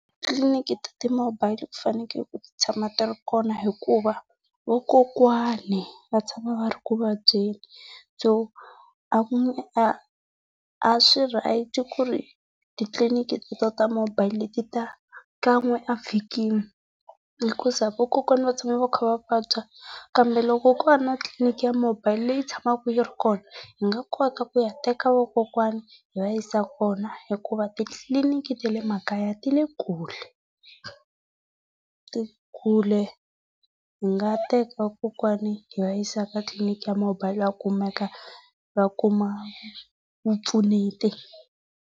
Titliliniki ta ti-mobile ku fanekele ku ti tshama ti ri kona hikuva vakokwana va tshama va ri ekuvabyeni by a swi right ku ri titliliniki ta mobile ti ta kan'we a vhikini. Hikuza vakokwana vatshama va kha va vabya kambe loko ko va na tliliniki ya mobile leyi tshamaka yi ri kona, hi nga kota ku ya teka vakokwana hi va yisa kona hikuva titliliniki ta le makaya ti le kule. Ti hi nga teka kokwani hi va yisa ka tliliniki ya mobile a kumeka va kuma vupfuneti.